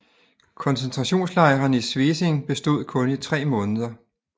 Koncentrationslejren i Svesing bestod kun i tre måneder